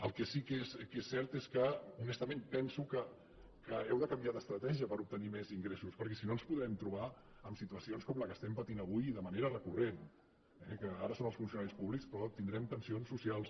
el que sí que és cert és que honestament penso que heu de canviar d’estratègia per obtenir més ingressos perquè si no ens podrem trobar amb situacions com la que estem patint avui de manera recurrent eh que ara són els funcionaris públics però tindrem tensions socials